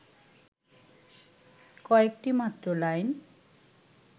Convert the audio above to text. কয়েকটি মাত্র লাইন